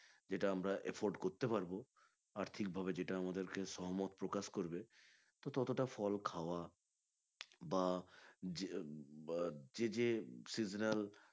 যেটা আমরা afford করতে পারবো আর্থিক ভাবে যেটা আমাদেরকে সহমত প্রকাশ করবে তো ততটা ফল খাওয়া বা যে যে seasonal